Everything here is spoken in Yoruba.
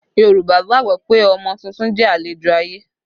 Yorùbá gbàgbọ́ pé ọmọ tuntun jẹ́ àlejò ayé